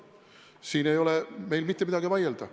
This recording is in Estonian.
Siin ei ole mitte midagi vaielda.